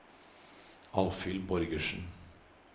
Alvhild Borgersen